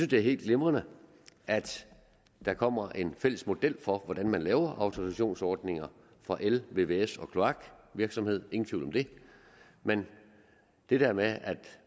det er helt glimrende at der kommer en fælles model for hvordan man laver autorisationsordninger for el vvs og kloakvirksomhed ingen tvivl om det men det her med at